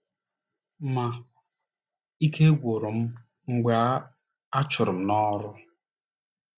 Ma, ike gwụrụ m mgbe a a chụrụ m n’ọrụ.